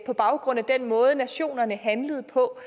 på baggrund af den måde nationerne handlede på